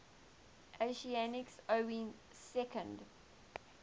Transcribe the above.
athenians owning second